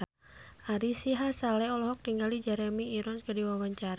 Ari Sihasale olohok ningali Jeremy Irons keur diwawancara